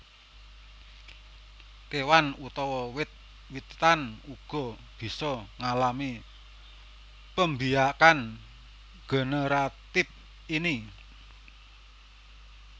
Kewan utawa wit witan uga bisa ngalami pembiakan generatif ini